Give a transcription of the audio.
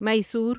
Mysore